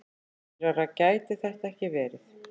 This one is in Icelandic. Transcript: Skýrara gæti þetta ekki verið.